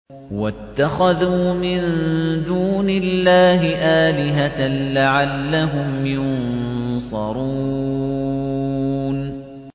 وَاتَّخَذُوا مِن دُونِ اللَّهِ آلِهَةً لَّعَلَّهُمْ يُنصَرُونَ